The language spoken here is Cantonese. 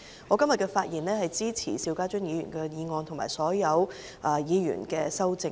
我今天發言，旨在支持邵家臻議員的議案，以及所有議員的修正案。